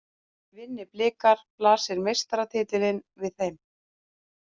Vinni Blikar blasir meistaratitillinn við þeim